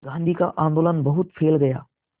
गांधी का आंदोलन बहुत फैल गया